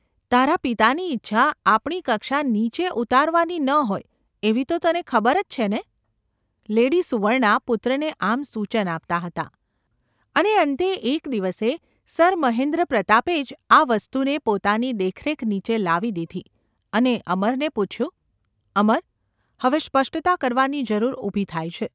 તારા પિતાની ઇચ્છા આપણી કક્ષા નીચે ઉતારવાની ન હોય એવી તો તને ખબરજ છે ને ?’ લેડી સુવર્ણા પુત્રને આમ સૂચન આપતાં હતાં અને અંતે એક દિવસે સર મહેન્દ્રપ્રતાપે જ આ વસ્તુને પોતાની દેખરેખ નીચે લાવી દીધી અને અમરને પૂછ્યું :​ ‘અમર ! હવે સપષ્ટતા કરવાની જરૂર ઊભી થાય છે.